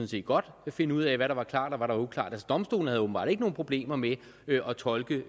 set godt kunne finde ud af hvad der var klart og hvad der var uklart altså domstolene havde åbenbart ikke nogen problemer med at tolke